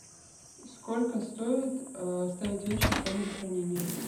сколько стоит оставить вещи в камере хранения